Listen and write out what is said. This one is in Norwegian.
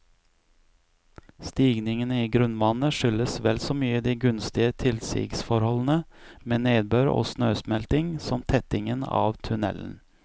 Stigningen i grunnvannet skyldes vel så mye de gunstige tilsigsforholdene med nedbør og snøsmelting, som tettingen av tunnelen.